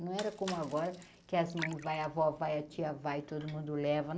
Não era como agora que as mães vai, a avó vai, a tia vai, todo mundo leva.